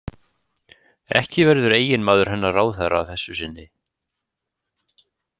Ekki verður eiginmaður hennar ráðherra að þessu sinni.